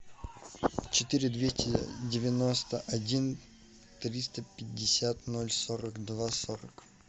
четыре двести девяносто один триста пятьдесят ноль сорок два сорок